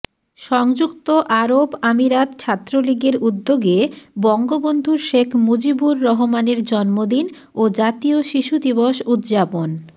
সংযুক্ত আরব আমিরাত ছাত্রলীগের উদ্যোগে বঙ্গবন্ধু শেখ মুজিবুর রহমানের জন্মদিন ও জাতীয় শিশু দিবস উদযাপন